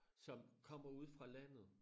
Som kommer ude fra landet